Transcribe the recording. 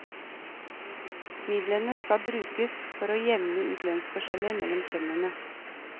Midlene skal brukes for å jevne ut lønnsforskjeller mellom kjønnene.